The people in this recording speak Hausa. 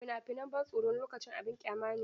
Fina-finan ban tsoro wani lokacin abin ƙyama ne.